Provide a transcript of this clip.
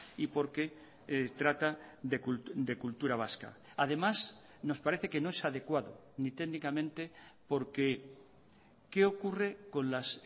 y porque trata de cultura vasca además nos parece que no es adecuado ni técnicamente porque qué ocurre con las